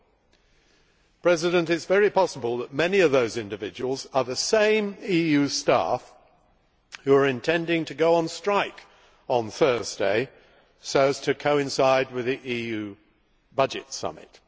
Mr President, it is very possible that many of these individuals are the same EU staff who are intending to go on strike on Thursday so as to coincide with the EU budget summit.